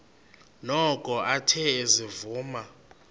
noko athe ezivuma